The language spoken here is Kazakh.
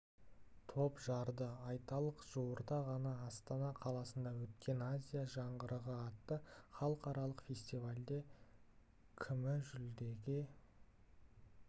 топ жарды айталық жуырда ғана астана қаласында өткен азия жаңғырығы атты халықаралық фестивальде күміі жүлдеге